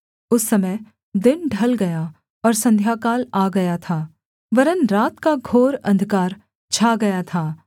उस समय दिन ढल गया और संध्याकाल आ गया था वरन् रात का घोर अंधकार छा गया था